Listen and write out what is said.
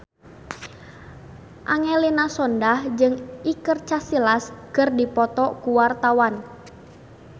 Angelina Sondakh jeung Iker Casillas keur dipoto ku wartawan